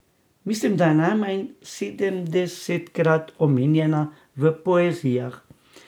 Mislim, da je najmanj sedemdesetkrat omenjena v Poezijah.